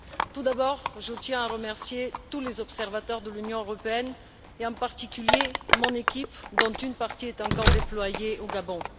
Tout d'abord, je tiens à remercier tous les observateurs de l'Union européenne et en particulier mon équipe, dont une partie est encore déployée au Gabon.